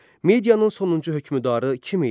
Medianın sonuncu hökmdarı kim idi?